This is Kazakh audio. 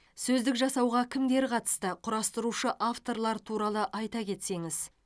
сөздік жасауға кімдер қатысты құрастырушы авторлар туралы айта кетсеңіз